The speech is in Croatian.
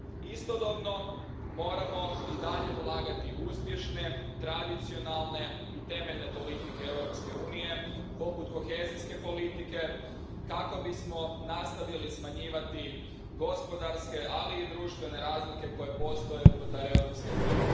Istodobno moramo i dalje ulagati u uspješne, tradicionalne i temeljne politike Europske unije, poput kohezijske politike, kako bismo nastavili smanjivati gospodarske, ali i društvene razlike koje postoje unutar Europske unije.